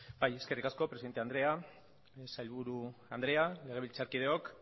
bai eskerrik asko presidente andrea sailburu andrea legebiltzarkideok